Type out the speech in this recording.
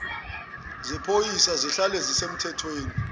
zephoyisa zihlale zisemthethweni